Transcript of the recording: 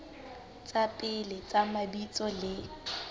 tsa pele tsa mabitso le